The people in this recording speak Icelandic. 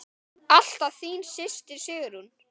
Alltaf þín systir, Sigrún.